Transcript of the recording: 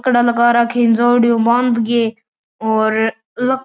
लकड़ा लगा राखी है इन जेवड़ी उ बांधगी और ल --